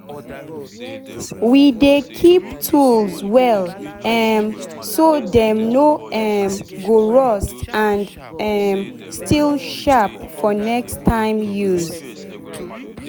we dey keep tools well um so dem no um go rust and um still sharp for next time use.